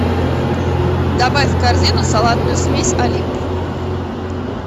добавь в корзину салатную смесь олимп